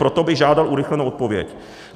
Proto bych žádal urychlenou odpověď.